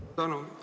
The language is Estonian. Suur tänu!